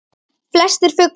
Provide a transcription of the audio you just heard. Flestir fuglar